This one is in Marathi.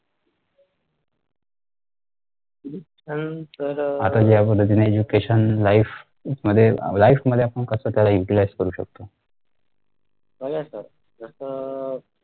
आता ज्या पद्धतीने education life मध्ये life मध्ये आपण कस त्याला utilize करू शकतो.